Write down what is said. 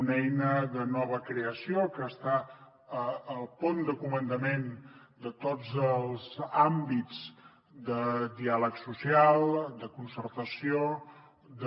una eina de nova creació que està al pont de comandament de tots els àmbits de diàleg social de concertació de